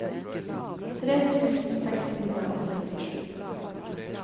tre tusen seks hundre og syttisju